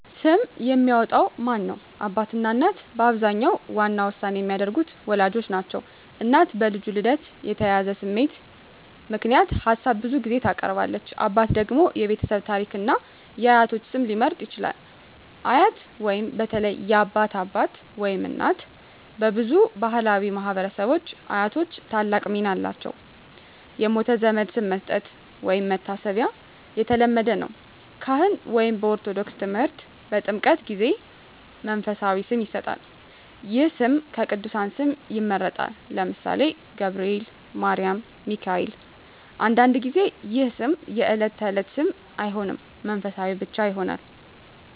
ስም የሚያወጣው ማን ነው? አባትና እናት በአብዛኛው ዋና ውሳኔ የሚያደርጉት ወላጆች ናቸው። እናት በልጁ ልደት የተያያዘ ስሜት ምክንያት ሀሳብ ብዙ ጊዜ ታቀርባለች። አባት ደግሞ የቤተሰብ ታሪክን እና የአያቶች ስም ሊመርጥ ይችላል። አያት (በተለይ የአባት አባት/እናት) በብዙ ባሕላዊ ማኅበረሰቦች አያቶች ታላቅ ሚና አላቸው። የሞተ ዘመድ ስም መስጠት (መታሰቢያ) የተለመደ ነው። ካህን (በኦርቶዶክስ ተምህርት) በጥምቀት ጊዜ መንፈሳዊ ስም ይሰጣል። ይህ ስም ከቅዱሳን ስም ይመረጣል (ለምሳሌ፦ ገብርኤል፣ ማርያም፣ ሚካኤል)። አንዳንድ ጊዜ ይህ ስም የዕለት ተዕለት ስም አይሆንም፣ መንፈሳዊ ብቻ ይሆናል።